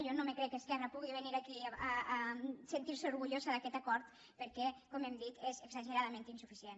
jo no em crec que esquerra pugui venir aquí a sentir se orgullosa d’aquest acord perquè com hem dit és exageradament insuficient